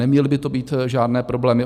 Neměl by to být žádný problém.